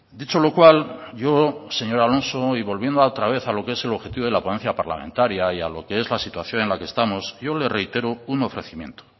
dicho lo cual yo señor alonso y volviendo otra vez a lo que es el objetivo de la ponencia parlamentaria y a lo que es la situación en la que estamos yo le reitero un ofrecimiento